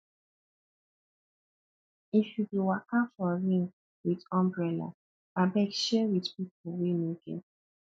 if you dey waka for rain wit umbrella abeg share wit pipu wey no get